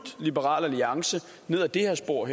liberal alliance ned ad det her spor